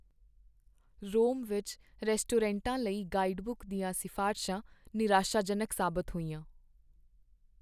ਰੋਮ ਵਿੱਚ ਰੈਸਟੋਰੈਂਟਾਂ ਲਈ ਗਾਈਡਬੁੱਕ ਦੀਆਂ ਸਿਫਾਰਸ਼ਾਂ ਨਿਰਾਸ਼ਾਜਨਕ ਸਾਬਤ ਹੋਈਆਂ।